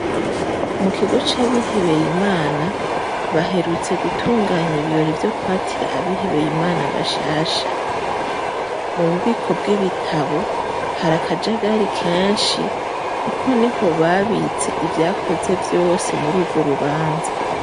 Mu kigo c'abihebeye Imana, baherutse gutunganya ibirori vyo kwatira abihebeye Imana bashasha. Mu bubiko bw'ibitabo hari akajagari kenshi kuko niho babitse ivyakoze vyose muri urwo rubanza.